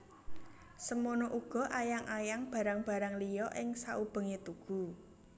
Semono uga ayang ayang barang barang liya ing saubengé tugu